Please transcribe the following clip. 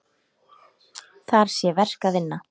Þar sé verk að vinna.